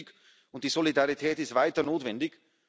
Das ist richtig, und die Solidarität ist weiter notwendig.